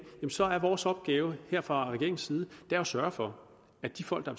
så er vores opgave her fra regeringens side at sørge for at de folk der